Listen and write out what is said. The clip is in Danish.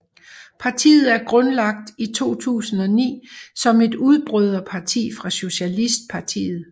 Partiet er grundlagt i 2009 som et udbryderparti fra Socialistpartiet